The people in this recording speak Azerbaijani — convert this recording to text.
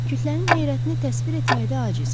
Kütlənin heyrətini təsvir etməkdə acizik.